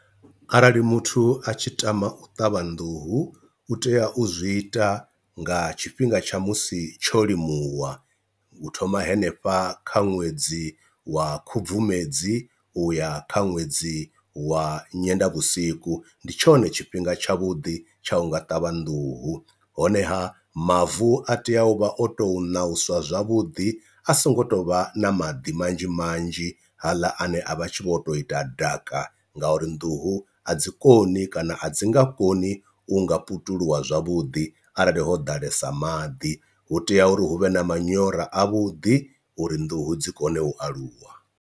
Arali muthu a tshi tama u ṱavha nḓuhu u tea u zwi ita nga tshifhinga tsha musi tsho ḽimuwa, u thoma henefha kha ṅwedzi wa khubvumedzi u ya kha ṅwedzi wa nyendavhusiku, ndi tshone tshifhinga tshavhuḓi tsha unga ṱavha nḓuhu honeha mavu a tea u vha o tou nauswa zwavhuḓi a so ngo tovha na maḓi manzhi manzhi haaḽa ane a vha tshi vho to ita ḓaka, nga uri nḓuhu a dzi koni kana a dzi nga koni u nga putuluwa zwavhuḓi arali ho ḓalesa maḓi, hu tea uri hu vhe na manyora a vhuḓi uri nḓuhu dzi kone u aluwa.